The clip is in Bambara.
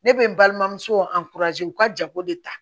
Ne bɛ n balimamuso u ka jago de ta